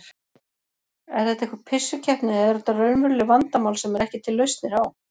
Er þetta einhver pissukeppni eða eru þetta raunveruleg vandamál sem eru ekki til lausnir á?